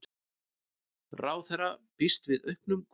Ráðherra býst við auknum kvóta